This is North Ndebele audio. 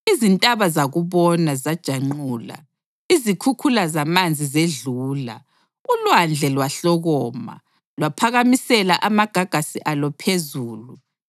izintaba zakubona zajanqula, izikhukhula zamanzi zedlula, ulwandle lwahlokoma, lwaphakamisela amagagasi alo phezulu.